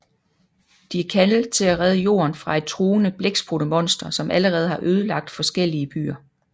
De er kaldet til at redde Jorden fra et truende blækspruttemonster som allerede har ødelagt forskellige byer